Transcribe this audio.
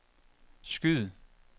skyd